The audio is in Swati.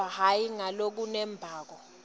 kodvwa hhayi ngalokunembako